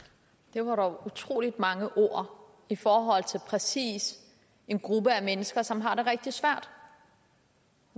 var dog utrolig mange ord i forhold til præcis en gruppe af mennesker som har det rigtig svært